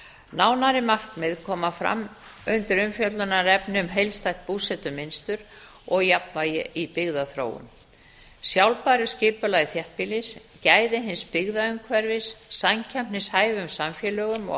nánari markmið koma fram undir umfjöllunarefni um heildstætt búsetumynstur og jafnvægi í byggðaþróun sjálfbæru skipulagi þéttbýlis gæði hins byggða umhverfis samkeppnishæfum samfélögum og